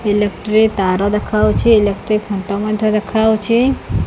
Electric ତାର ଦେଖାଯାଉଛି electric ଖୁଣ୍ଟ ମଧ୍ୟ ଦେଖାଯାଉଛି।